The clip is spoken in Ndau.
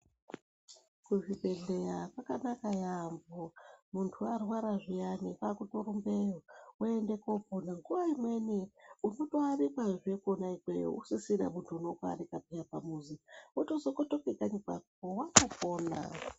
Kuzvibhedhleya kwakanaka yaampo muntu warwara zviyani kwakutorumbeyo woende kopona nguwa imweni uri kutoarikwazve kwona ikweyo usisina muntu unoatika peya pamuzi wotozokotoke kayi kwako watopona.